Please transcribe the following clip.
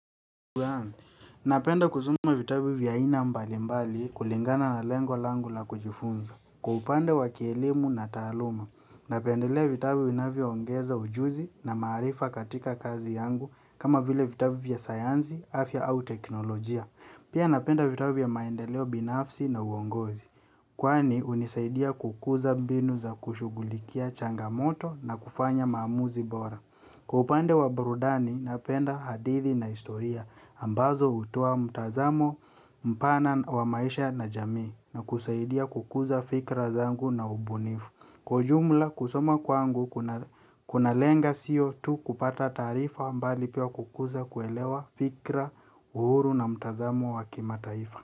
Napenda kusoma vitabu vya aina mbalimbali kulingana na lengo langu la kujifunza. Kwa upande wa kielimu na taaluma. Napendelea vitabu vinavyoongeza ujuzi na maarifa katika kazi yangu kama vile vitabu vya sayansi afya au teknolojia. Pia napenda vitabu vya maendeleo binafsi na uongozi. Kwani hunisaidia kukuza mbinu za kushughulikia changamoto na kufanya maamuzi bora. Kwa upande wa burudani napenda hadithi na historia ambazo hutoa mtazamo mpana wa maisha na jamii na kusaidia kukuza fikra zangu na ubunifu. Kwa ujumla kusoma kwangu kunalenga siyo tu kupata taarifa bali pia kukuza kuelewa fikira uhuru na mtazamo wa kimataifa.